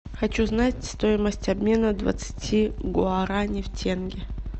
хочу знать стоимость обмена двадцати гуарани в тенге